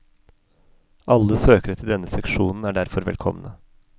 Alle søkere til denne seksjonen er derfor velkomne.